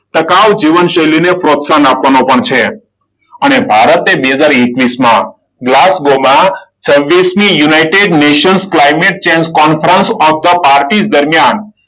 ટકાઉ જીવનશૈલીને પ્રોત્સાહન આપવાનો પણ છે. અને ભારતે બે હજાર એકવીસમાં છવ્વીસમી united nation climate change conference of the parties દરમિયાન,